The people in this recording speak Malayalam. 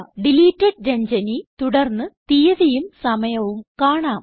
ഡിലീറ്റഡ് Ranjani തുടർന്ന് തീയതിയും സമയവും കാണാം